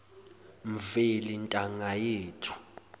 mveli ntanga yethu